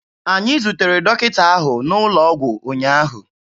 Anyị zutere dọkịta ahụ n'ụlọ ọgwụ ụnyaahụ.